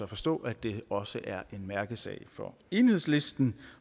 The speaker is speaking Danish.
forstå at det også er en mærkesag for enhedslisten